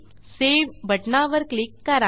save बटणावर click करा